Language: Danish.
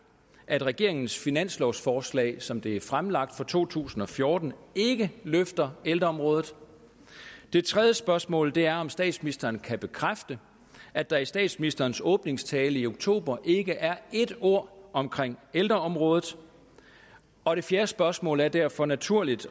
at regeringens finanslovsforslag som det er fremlagt for to tusind og fjorten ikke løfter ældreområdet det tredje spørgsmål er om statsministeren kan bekræfte at der i statsministerens åbningstale i oktober ikke er et ord om ældreområdet og det fjerde spørgsmål er det derfor naturligt